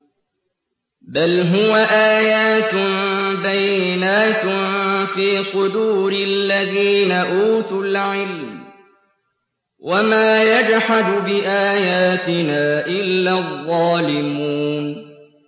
بَلْ هُوَ آيَاتٌ بَيِّنَاتٌ فِي صُدُورِ الَّذِينَ أُوتُوا الْعِلْمَ ۚ وَمَا يَجْحَدُ بِآيَاتِنَا إِلَّا الظَّالِمُونَ